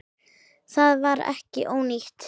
Það var ekki ónýtt.